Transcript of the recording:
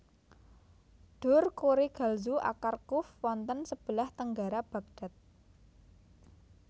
Dur Kurigalzu Aqar Quf wonten sebelah tenggara Bagdad